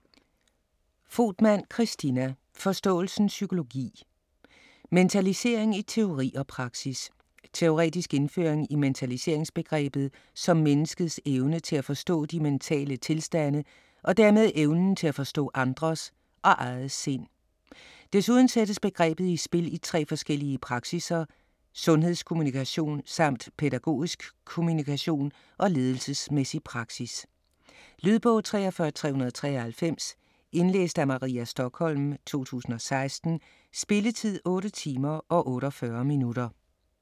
Fogtmann, Christina: Forståelsens psykologi: mentalisering i teori og praksis Teoretisk indføring i mentaliseringsbegrebet som menneskets evne til at forstå de mentale tilstande og dermed evnen til at forstå andres og eget sind. Desuden sættes begrebet i spil i tre forskellige praksisser: sundhedskommunikation samt pædagogisk kommunikation og ledelsesmæssig praksis. Lydbog 43393 Indlæst af Maria Stokholm, 2016. Spilletid: 8 timer, 48 minutter.